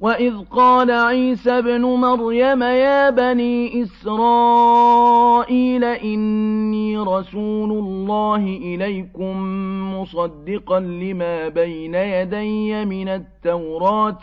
وَإِذْ قَالَ عِيسَى ابْنُ مَرْيَمَ يَا بَنِي إِسْرَائِيلَ إِنِّي رَسُولُ اللَّهِ إِلَيْكُم مُّصَدِّقًا لِّمَا بَيْنَ يَدَيَّ مِنَ التَّوْرَاةِ